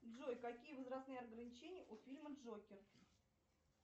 джой какие возрастные ограничения у фильма джокер